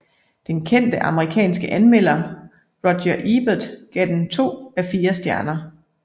Den kendte amerikanske anmelder Roger Ebert gav den to af fire stjerner